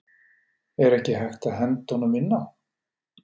Er ekki hægt að henda honum inn á?